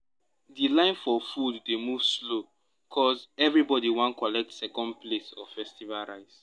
the line for food dey move slow ’cause everybody wan collect second plate of festival rice.